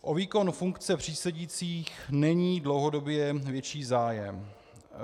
O výkon funkce přísedících není dlouhodobě větší zájem.